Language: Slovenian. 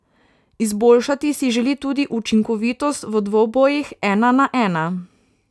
Izboljšati si želi tudi učinkovitost v dvobojih ena na ena.